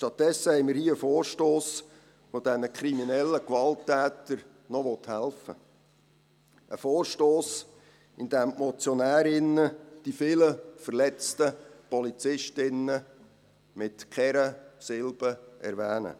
Stattdessen haben wir hier einen Vorstoss, der diesen kriminellen Gewalttätern noch helfen will, ein Vorstoss, bei dem die Motionärinnen und Motionäre die vielen verletzten Polizistinnen und Polizisten mit keiner Silbe erwähnen.